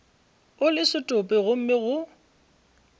o le setopo gomme go